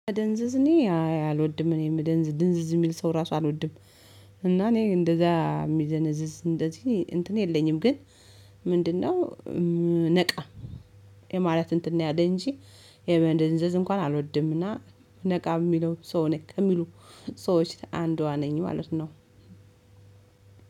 መደንዝዝ እኔ አይ አልወድም እኔ የምደንዝዝ ድንዝዝ የሚል ሰው ራሱ አልወድም። እና እኔ እንደዛ የሚደነዝዝ እንደዚህ እንትን የለኝም ግን። ምንድነው? ነቃ የማለት እንትን ነው ያለ እንጂ። የመደንዘዝ እንኳን አልወድምና። ነቃ የሚለው ሰው ነክ ከሚሉ ሰዎች አንዷ ነኝ ማለት ነው።